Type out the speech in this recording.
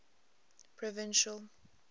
provincial